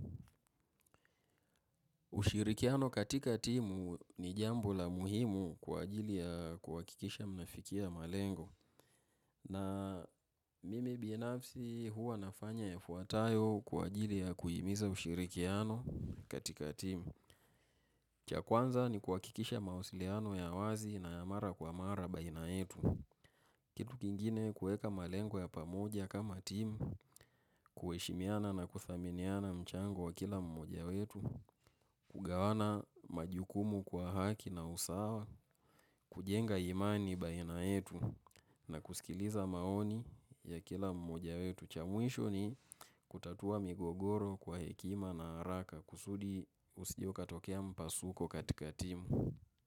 Ushirikiano katika timu ni jambo la muhimu kwa ajili ya kuhakikisha mnafikia malengo. Na mimi binafsi huwa nafanya yafuatayo kwa ajili ya kuhimiza ushirikiano katika timu. Cha kwanza, ni kuhakikisha mawasiliano ya wazi na ya mara kwa mara baina yetu. Kitu kingine, kuweka malengo ya pamoja kama timu, kuheshimiana na kuthaminiana mchango wa kila mmoja wetu, kugawana majukumu kwa haki na usawa, kujenga imani baina yetu na kusikiliza maoni ya kila mmoja wetu. Cha mwisho ni kutatua migogoro kwa hekima na haraka kusudi kusije ukatokea mpasuko katika timu.